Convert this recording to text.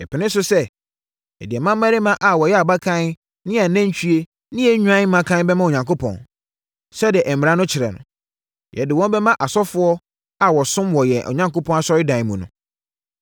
“Yɛpene so sɛ, yɛde yɛn mmammarima a wɔyɛ abakan ne yɛn anantwie ne yɛn nnwan mmakan bɛma Onyankopɔn, sɛdeɛ mmara no kyerɛ no. Yɛde wɔn bɛma asɔfoɔ a wɔsom wɔ yɛn Onyankopɔn Asɔredan mu no.